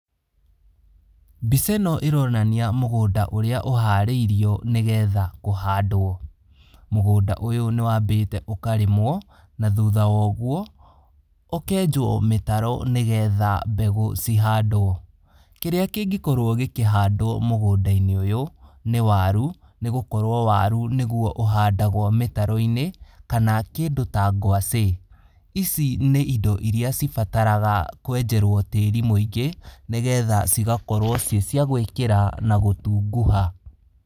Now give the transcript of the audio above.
Mbica ĩno ĩronania mũgũnda ũrĩa ũharĩrio nĩgetha kũhandwo, mũgũnda ũyũ nĩ wambĩte ũkarĩmwo, na thũtha wogwo ũkenjwo mĩtaro nĩ getha mbegũ cihandwo, kĩrĩa kĩngĩkorwo gĩkĩhandwo mũgũnda - inĩ ũyũ, nĩ waru, nĩgũkorwo waru nĩguo ũhandagwo mĩtaro -inĩ kana kĩndũ ta gwacĩ, ici nĩ indo iria cibataraga kwenjerwo tĩri mwĩngĩ nĩgetha cigakorwo ci cia gwĩkĩra na gũtunguha.